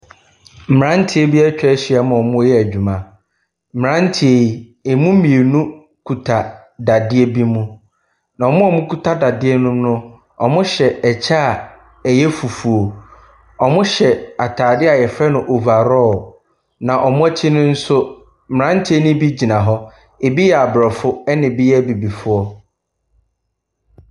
Mmeranteɛ bi atwa ahyiam a wɔreyɛ adwuma. Mmeranteɛ yi, ɛmu mmienu kita dadeɛ bi mu, na wɔn a wɔkita dadeɛ no mu no, wɔhyɛ kyɛ a ɛyɛ fufuo. Wɔhyɛ atadeɛ a wɔfrɛ no overall, na wɔn akyi no nso, mmeranteɛ no bi gyina hɔ, ebi yɛ aborɔfo na ebi yɛ abibifoɔ.